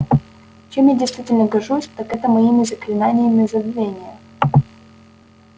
чем я действительно горжусь так это моими заклинаниями забвения